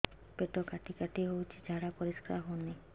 ପେଟ କାଟି କାଟି ହଉଚି ଝାଡା ପରିସ୍କାର ହଉନି